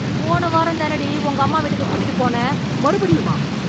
போன வாரம் தானடி உங்க அம்மா வீட்டுக்கு கூட்டிட்டு போனேன் மறுபடியுமா?